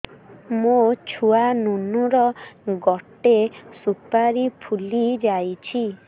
ମୋ ଛୁଆ ନୁନୁ ର ଗଟେ ସୁପାରୀ ଫୁଲି ଯାଇଛି